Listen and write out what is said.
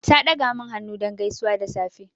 Ta ɗaga min hannu don gaisuwa da safe.